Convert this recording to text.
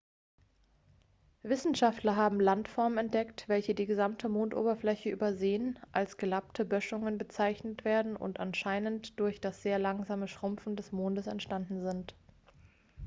wissenschaftler haben landformen entdeckt welche die gesamte mondoberfläche übersäen als gelappte böschungen bezeichnet werden und anscheinend durch das sehr langsame schrumpfen des mondes entstanden sind